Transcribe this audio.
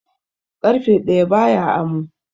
Ƙarfe ɗaya ba ya amo.